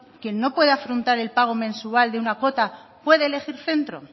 quien no pueda afrontar el pago mensual de una cuota puede elegir centro